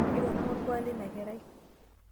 keitorono olkuak leina kerai